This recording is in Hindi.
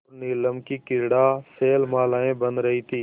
और नीलम की क्रीड़ा शैलमालाएँ बन रही थीं